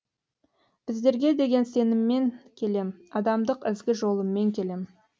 біздерге деген сеніммен келем адамдық ізгі жолыммен келем